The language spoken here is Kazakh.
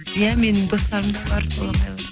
иә менің достарым да бар солақайлар